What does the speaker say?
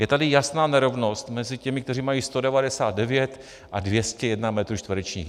Je tady jasná nerovnost mezi těmi, kteří mají 199 a 201 metrů čtverečních.